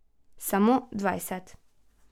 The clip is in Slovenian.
Samo dvajset.